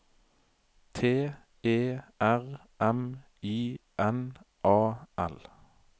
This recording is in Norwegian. T E R M I N A L